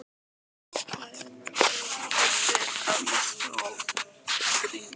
Hæðin að öðru leyti að mestu opið rými.